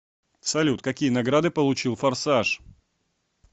салют какие награды получил форсаж